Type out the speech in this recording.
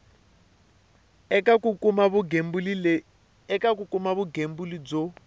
eka ku kuma vugembuli byo